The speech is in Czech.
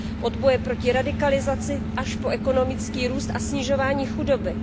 Od boje proti radikalizaci až po ekonomický růst a snižování chudoby.